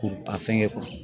K'u a fɛngɛ